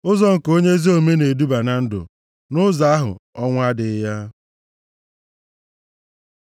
Ụzọ nke onye ezi omume na-eduba na ndụ, nʼụzọ ahụ, ọnwụ adịghị ya.